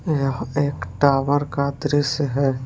यह एक टॉवर का दृश्य है।